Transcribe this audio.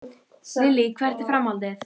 Lillý: Hvert er framhaldið?